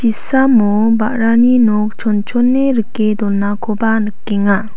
chisamo ba·rani nok chongchong rike donakoba nikenga.